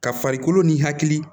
Ka farikolo ni hakili